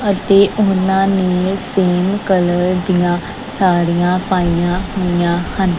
ਅਤੇ ਊਨਾਨੇ same colour ਦੀਆਂ ਸਾੜੀਆਂ ਪਾਈਆ ਹੋਈਆਂ ਹਨ।